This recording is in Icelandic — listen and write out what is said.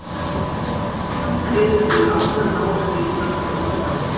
Þær eru því allar náskyldar frá upphafi.